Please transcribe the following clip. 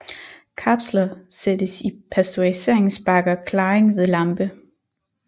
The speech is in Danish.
Kapsler sættes i pasteuriseringsbakker klaring ved lampe